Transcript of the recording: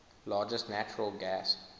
largest natural gas